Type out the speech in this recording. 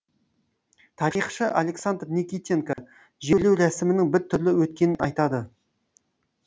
тарихшы александр никитенко жерлеу рәсімінің бір түрлі өткенін айтады